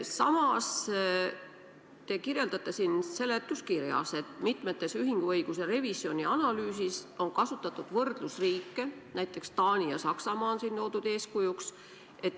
Samas on seletuskirjas öeldud, et mitmes ühinguõiguse revisjoni analüüsis on toodud eeskujuks näiteks Taanit ja Saksamaad.